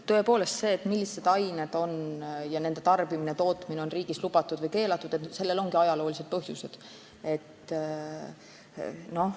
Tõepoolest, sellel, milliste ainete tarbimine ja tootmine on riigis lubatud või keelatud, on ajaloolised põhjused.